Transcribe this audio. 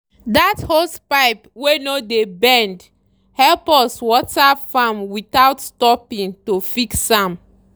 that hosepipe wey no dey bend help us water farm without stopping to fix am.